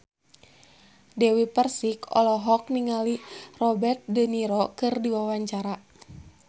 Dewi Persik olohok ningali Robert de Niro keur diwawancara